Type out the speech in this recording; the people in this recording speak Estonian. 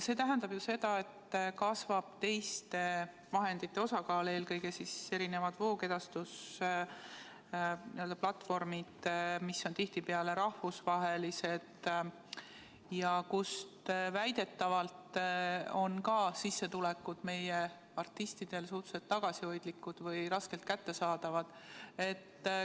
See tähendab aga seda, et kasvab teiste vahendite osakaal, eelkõige kasutatakse voogedastusplatvorme, mis on tihtipeale rahvusvahelised, siin on digimaksud ja muud asjad, ja väidetavalt on ka meie artistide sissetulekud nende kaudu suhteliselt tagasihoidlikud või raskesti kättesaadavad.